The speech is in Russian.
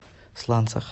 сланцах